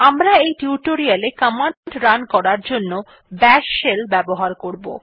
আমরা এই tutorial command run করার জন্য বাশ শেল ব্যবহার করব